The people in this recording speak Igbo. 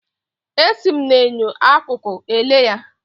Esi m na enyo akụkụ ele ya.